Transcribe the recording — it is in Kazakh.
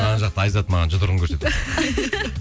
анау жақта айзат маған жұдырығын көрсетіватыр